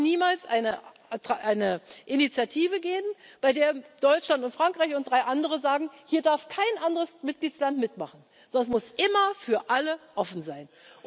Es darf niemals eine Initiative gehen, bei der Deutschland und Frankreich und drei andere sagen Hier darf kein anderer Mitgliedstaat mitmachen, sondern es muss immer für alle offen sein.